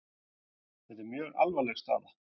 Þetta er mjög alvarleg staða